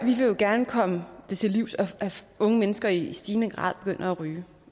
vil jo gerne komme det til livs at unge mennesker i stigende grad begynder at ryge